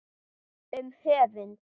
Um höfund